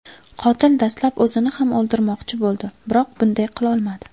Qotil dastlab o‘zini ham o‘ldirmoqchi bo‘ldi, biroq bunday qilolmadi.